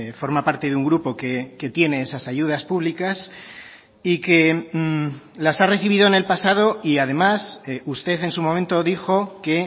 forma parte de un grupo que tiene esas ayudas públicas y que las ha recibido en el pasado y además usted en su momento dijo que